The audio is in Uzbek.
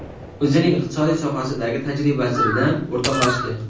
o‘zining iqtisodiyot sohasidagi tajribasi bilan o‘rtoqlashdi.